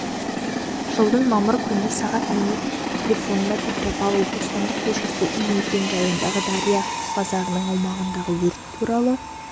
жылдың мамыр күні сағат минут телефонына петропавл бостандық көшесі үй мекен-жайындағы дария базарының аумағындағы өрт туралы